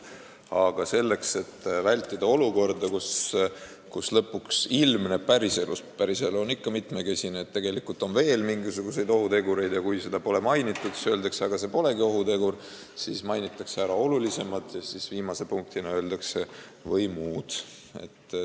Aga selleks, et vältida olukorda, kus lõpuks ilmneb päriselus – päriselu on ikka mitmekesine – veel mingisuguseid ohutegureid, aga kui neid pole seaduses mainitud, siis öeldakse, et aga need polegi ohutegurid, mainitakse ära olulisemad ja viimase punktina öeldakse "või muud".